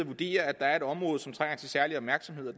vurdere at der er et område som trænger til særlig opmærksomhed